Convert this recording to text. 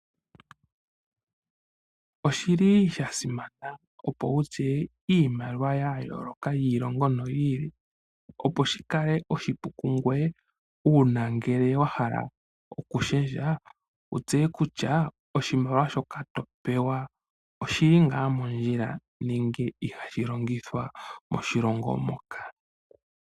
Oshi li sha simana opo wu tseye iimaliwa ya yooloka yiilongo yiili opo shi kale oshipu ku ngoye uuna ngele wa hala okushendja wu tseye kutya oshimaliwa shoka to pewa oshi li ngaa mondjila nenge iha shi longithwa moshilongo moka.